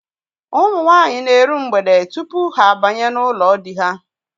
Ụmụ nwaanyị na-eru mgbede tupu ha abanye n'ụlọ di ha.